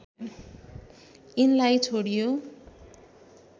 यिनलाई छोडियो